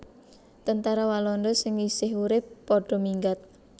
Tentara Walanda sing isih urip padha minggat